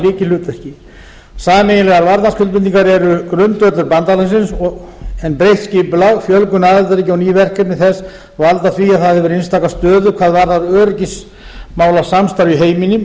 lykilhlutverki sameiginlegar varnarskuldbindingar eru grundvöllur bandalagsins en breytt skipulag fjölgun aðildarríkja og ný verkefni þess valda því að það hefur einstaka stöðu hvað varðar öryggismálasamstarf í heiminum